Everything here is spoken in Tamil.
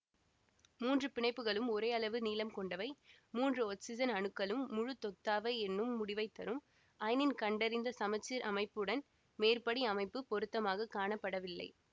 மூன்று பிணைப்புக்களும் ஒரேயளவு நீளம் கொண்டவை மூன்று ஒட்சிசன் அணுக்களும் முழுதொத்தவை என்னும் முடிவைத்தரும் அயனின் கண்டறிந்த சமச்சீர் அமைப்புடன் மேற்படி அமைப்பு பொருத்தமாக காணப்படவில்லை